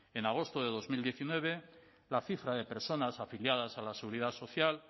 en agosto de dos mil diecinueve la cifra de personas afiliadas a la seguridad social